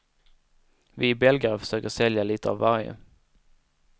Vi belgare försöker sälja lite av varje.